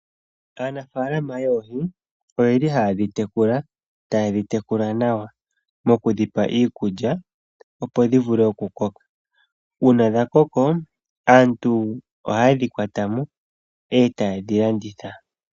Aanafaalama yoohi oyeli haye dhi tekula, taye dhi tekula nawa okudhipa iikudja, opo dhi vule oku koka. Uuna dha koko, aantu ohaye dhi kwata mo eta ye dhi landitha.